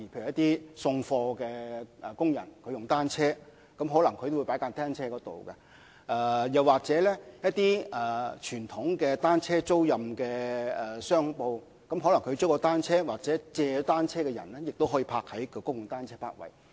例如送貨工人使用單車送貨時，可能會把單車停泊於公共泊位，又或經傳統單車租賃商鋪租借單車的人，也可把單車停泊在公共單車泊位。